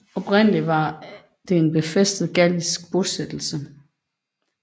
Oprindelig var det en befæstet gallisk bosættelse